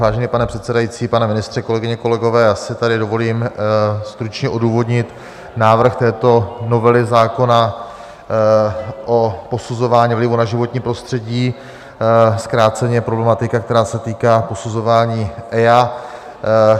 Vážený pane předsedající, pane ministře, kolegyně, kolegové, já si tady dovolím stručně odůvodnit návrh této novely zákona o posuzování vlivu na životní prostředí, zkráceně problematika, která se týká posuzování EIA.